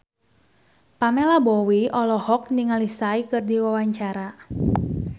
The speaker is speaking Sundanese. Pamela Bowie olohok ningali Psy keur diwawancara